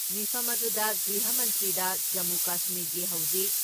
ꯃꯤꯐꯝ ꯑꯗꯨꯗ, ꯒ꯭ꯔꯤꯍ ꯃꯟꯇ꯭ꯔꯤꯗ ꯖꯃꯨ ꯀꯁꯃꯤꯔꯒꯤ ꯍꯧꯖꯤꯛ